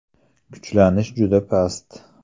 Kuchlanish juda past.